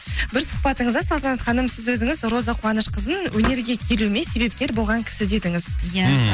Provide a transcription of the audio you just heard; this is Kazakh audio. бір сұхбатыңызда салтанат ханым сіз өзіңіз роза қуанышқызын өнерге келуіме себепкер болған кісі дедіңіз иә іхі